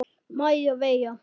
Maja Veiga.